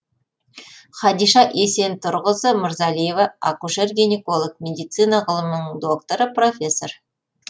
хадиша есентұрқызы мырзалиева акушер гинеколог медицина ғылымдарының докторы профессор